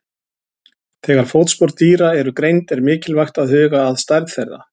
Þegar fótspor dýra eru greind er mikilvægt að huga að stærð þeirra.